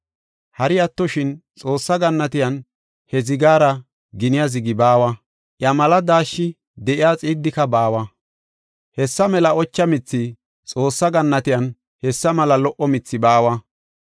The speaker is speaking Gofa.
Hari attoshin Xoossa gannatiyan he zigaara giniya zigi baawa; iya mela daashshi de7iya xiiddika baawa. Hessa mela ocha mithi, Xoossa gannatiyan hessa mela lo77o mithi baawa.